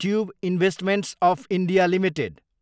tube Investments of India Ltd